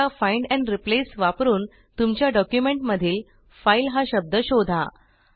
आता find and Replaceवापरून तुमच्या documentमधील fileहा शब्द शोधा